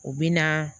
U bɛ na